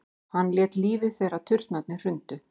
Hann lét lífið þegar turnarnir hrundu